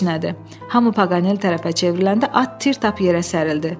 Hamı Paqanel tərəfə çevriləndə at tir tap yerə sərildi.